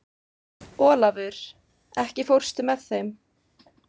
Olavur, ekki fórstu með þeim?